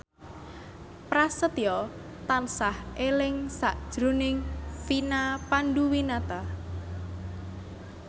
Prasetyo tansah eling sakjroning Vina Panduwinata